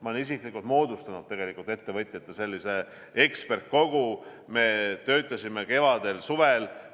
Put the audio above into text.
Ma olen isiklikult moodustanud ettevõtjatest sellise eksperdikogu, me töötasime kevadel ja suvel.